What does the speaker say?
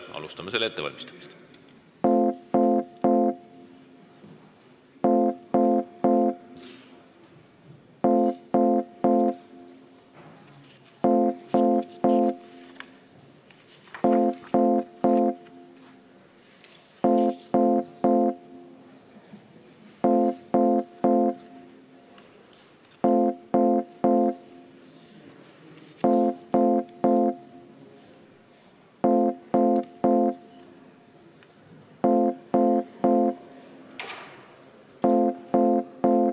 Alustame selle ettevalmistamist.